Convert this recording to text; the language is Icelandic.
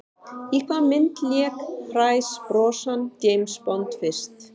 Í hvaða mynd lék Pierce Brosnan James Bond fyrst?